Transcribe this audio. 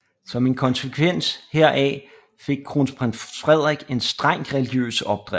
Som en konsekvens heraf fik Kronprins Frederik en strengt religiøs opdragelse